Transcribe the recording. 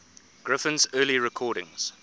griffin's early recordings